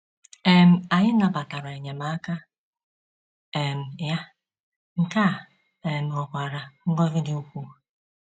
um Anyị nabatara enyemaka um ya, nke a um ghọkwara ngọzi dị ukwuu.